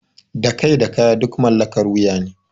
Da kai da kaya duk mallakar wuya ne.